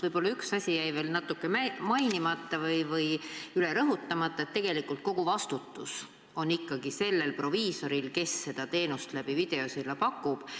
Võib-olla üks asi jäi veel natuke mainimata või üle rõhutamata – tegelikult on kogu vastutus ikkagi sellel proviisoril, kes seda teenust läbi videosilla pakub.